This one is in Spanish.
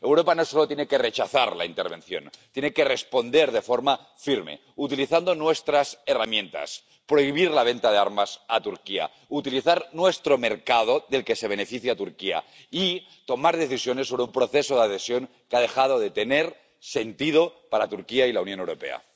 Europa no solo tiene que rechazar la intervención tiene que responder de forma firme utilizando nuestras herramientas prohibir la venta de armas a Turquía, utilizar nuestro mercado —del que se beneficia Turquía— y tomar decisiones sobre un proceso de adhesión que ha dejado de tener sentido para Turquía y la Unión Europea.